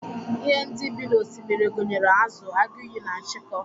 Ihe ndị bi n'Osimiri gụnyere azụ, agụiyi, na nshịkọ.